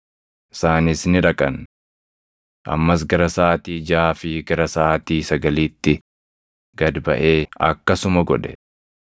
Isaanis ni dhaqan. “Ammas gara saʼaatii jaʼaa fi gara saʼaatii sagaliitti gad baʼee akkasuma godhe.